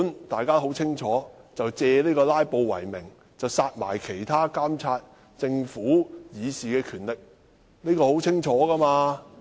大家都很清楚，這是借阻止"拉布"為名，剝奪我們監察政府的權力為實。